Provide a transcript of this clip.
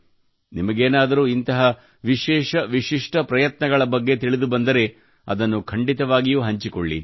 ನಿಮಗೇನಾದರೂ ಇಂತಹ ವಿಶೇಷ ವಿಶಿಷ್ಠ ಪ್ರಯತ್ನಗಳ ಬಗ್ಗೆ ತಿಳಿದುಬಂದರೆ ಅದನ್ನು ಖಂಡಿತವಾಗಿಯೂ ಹಂಚಿಕೊಳ್ಳಿ